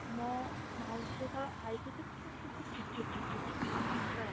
ମୋ ମାଉସୀ ଯେତେବେଳେ ଆଈ ସହିତ ନଥିଲା ସେ ପୁରା ଚିଡ ଚିଡ ଚିଡ ଚିଡ ଚିଡ ଚିଡ ହଉଥିଲା ପୁରା